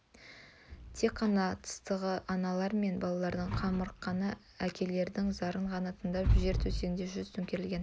тек қана тыстағы аналар мен балалардың қамырыққан әкелердің зарын ғана тындап жер төсегінде жүз төңкерілген